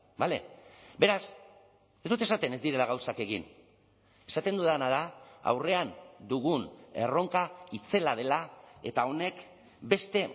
bale beraz ez dut esaten ez direla gauzak egin esaten dudana da aurrean dugun erronka itzela dela eta honek beste